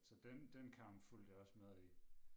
Så den den kamp fulgte jeg også med i